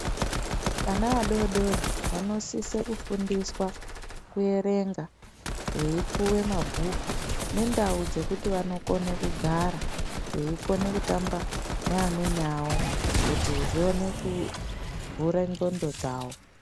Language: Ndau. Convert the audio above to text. Vana vadodori vanosise kufundiswa kuerenga, veipuwe mabhuku ,nendau dzekuti vanokone kugara ,veikone kutamba neamweni awo, kuti zvione kuvhure ndxondo dzavo.